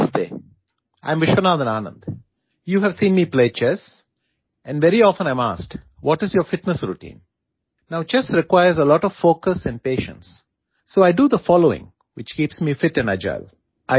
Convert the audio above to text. Namaste I am Viswanathan Anand you have seen me play chess and very often I am asked what is your fitness routine now chess requires a lot of focus and patience so I do the following which keeps me fit and agile